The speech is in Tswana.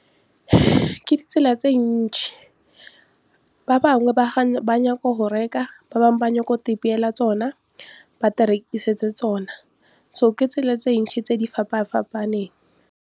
Ke ditsela tse ntšhi, ba bangwe ba nyaka go reka, ba bangwe ba ba go ipeela tsona ba di rekisetse tsona so ke tsela tse ntšhi tse di fapafapaneng.